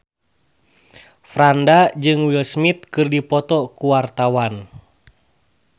Franda jeung Will Smith keur dipoto ku wartawan